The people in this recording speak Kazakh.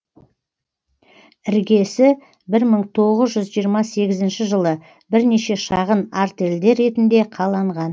іргесі бір мың тоғыз жүз жиырма сегізінші жылы бірнеше шағын артельдер ретінде қаланған